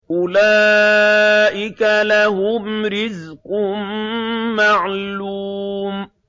أُولَٰئِكَ لَهُمْ رِزْقٌ مَّعْلُومٌ